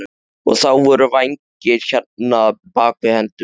Og þá voru vængir hérna, bak við hendurnar.